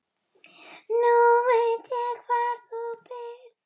Nú veit ég hvar þú býrð.